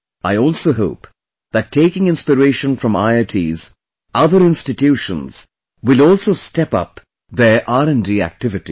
I also hope that taking inspiration from IITs, other institutions will also step up their R&D activities